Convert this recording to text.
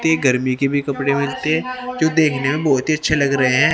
ते गर्मी के भी कपड़े मिलते हैं जो देखने में बहोत ही अच्छे लग रहे हैं।